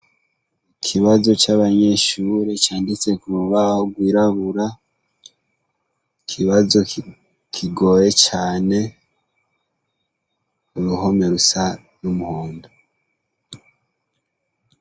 Ikibazo c'abanyeshure canditse ku rubaho rwirabura, ikibazo kigoye cane, uruhome rusa n'umuhundo.